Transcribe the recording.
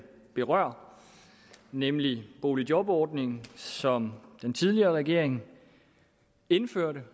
berører nemlig boligjobordningen som den tidligere regering indførte